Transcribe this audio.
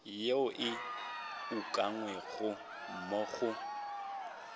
yeo e ukangwego mo go